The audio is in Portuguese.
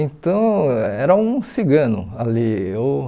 Então, era um cigano ali. Eu